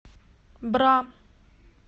бра